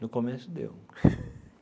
No começo deu.